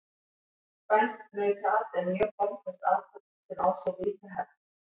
Spænskt nautaat er mjög formföst athöfn sem á sér ríka hefð.